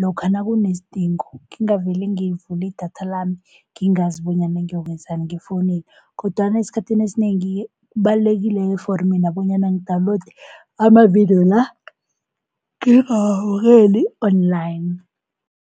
lokha nakunesidingo ngingavele ngivule idatha lami ngingazi bonyana ngiyokwenzani ngefonini. Kodwana esikhathini esinengi-ke kubalulekile for mina bonyana ngidawunilode amavidiyo la ngingawabukeli-online.